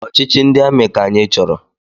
Ọchịchị ndị amị ka anyị chọrọ!